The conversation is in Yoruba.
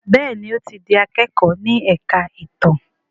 Béèni o tí dì akẹkọ ní èka ìtàn.